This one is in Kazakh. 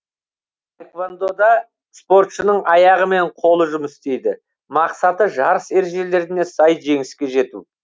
таэквондо да спортшының аяғы мен қолы жұмыс істейді мақсаты жарыс ережелеріне сай жеңіске жету